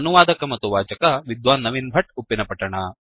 ಅನುವಾದಕ ಮತ್ತು ವಾಚಕ ವಿದ್ವಾನ್ ನವೀನ್ ಭಟ್ಟ ಉಪ್ಪಿನಪಟ್ಟಣ